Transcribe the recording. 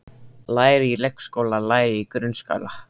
Læra í leikskóla Læra í grunnskóla